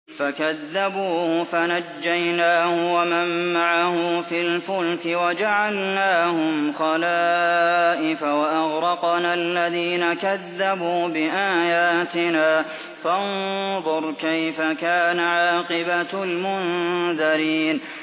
فَكَذَّبُوهُ فَنَجَّيْنَاهُ وَمَن مَّعَهُ فِي الْفُلْكِ وَجَعَلْنَاهُمْ خَلَائِفَ وَأَغْرَقْنَا الَّذِينَ كَذَّبُوا بِآيَاتِنَا ۖ فَانظُرْ كَيْفَ كَانَ عَاقِبَةُ الْمُنذَرِينَ